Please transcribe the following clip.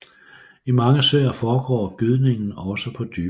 I mange søer foregår gydningen også på dybere vand